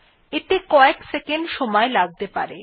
এতে কয়েক সেকন্ড সময় লাগতে পারে